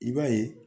I b'a ye